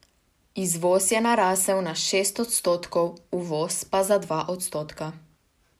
Izvoz je narasel za šest odstotkov, uvoz pa za dva odstotka.